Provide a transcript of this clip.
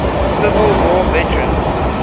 civil war veterans